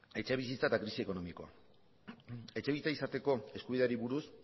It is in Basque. etxebizitza eta krisi ekonomikoa etxebizitza izateko eskubideari buruz